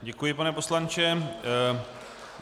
Děkuji, pane poslanče.